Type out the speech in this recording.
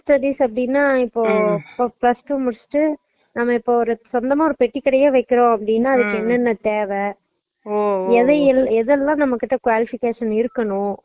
business studies னா இப்போ plus two முடிச்சுட்டு நம்ம இப்ப சொந்தமா ஒரு பெட்டிகடை வைக்கறோம் அப்புடினா அதுக்கு என்னன்னா தேவை எதை எதுல்லாம் நம்மகிட்ட qualifications இருக்கணும்